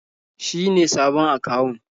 Shi ne sabon akawun.